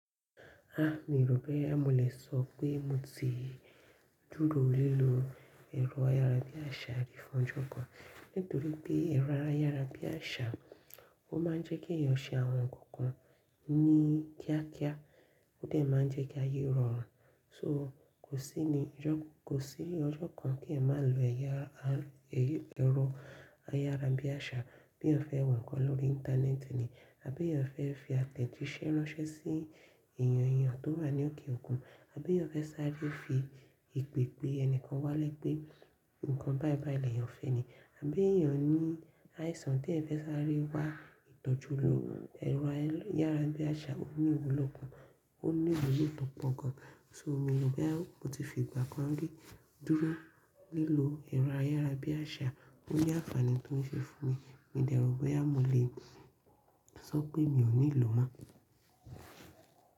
Ah mi rò pé a mọ lẹ́sọ pé mo ti dúró lílò ẹ̀rọ ayára bí àṣá rí fún ọjọ́ kan. Nítorí pé ẹ̀rọ ayára bí àṣá, ó ma ń jẹ́ kí ẹyan ṣe àwọn nǹkankan ní kíá kíá, ó dẹ̀ ma ń jẹ́ kí aye rọ̀rùn. So kò sí ni ọjọ́, kò sí ní ọjọ́ kan tí ẹ máa lo ẹ̀yẹ ara, ẹ̀rọ ayára bí àṣá bí ẹ fẹ́ wẹ̀ nǹkan lórí Íńtánẹ́ẹ̀tì ni. Àbí ẹyab fẹ́ fi àtẹ̀jíṣẹ́ ránṣẹ́ sí ènìyàn ènìyàn tó wà ní òkè òkun. Àbí ẹyan fẹ́ sáré fi ipe pé ẹnikan wá lẹ́ pe ǹkan báìbàì lẹ́yàn fẹ́ ẹ ni. Àbí ènìyàn ní àìsàn tí ẹyan fẹ́ sáré wá ìtọ́jú lo ẹ̀rọ ayára bí àṣá ó ní ìwúlò gan, ó ní ìwulò tọ́ pọ̀ gan. So mi o rò boya mo ti fi ìgbà kan rí dúró lílò ẹ̀rọ ayára bí àṣá, ó ní àǹfààní tó ń ṣe fún mi. Mi dẹ̀ rò pé a mọ le sọ pé mi ò níì lò mọ́.